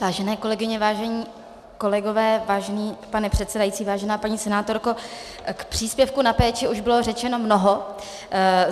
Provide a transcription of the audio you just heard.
Vážené kolegyně, vážení kolegové, vážený pane předsedající, vážená paní senátorko, k příspěvku na péči už bylo řečeno mnoho.